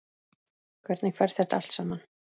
Hvernig fer þetta allt saman?